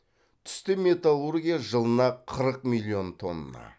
түсті металлургия жылына қырық миллион тонна